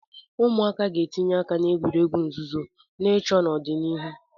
Ụmụaka ga-etinye aka na egwuregwu nzuzo na ịchọ n'ọdịnihu.